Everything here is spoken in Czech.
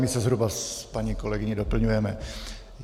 My se zhruba s paní kolegyní doplňujeme.